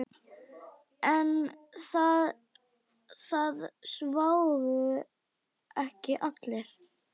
En það sváfu ekki allir.